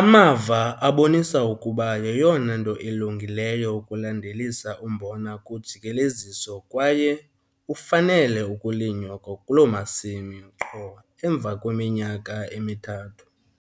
Amava abonisa ukuba yeyona nto ilungileyo ukulandelisa umbona kujikeleziso kwaye ufanele ukulinywa kwakuloo masimi qho emva kweminyaka emithathu.